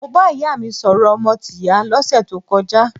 Mo bá ìyá mi sọ̀rọ̀ ọmọ tìyá lọ́sẹ̀ tó kọjá.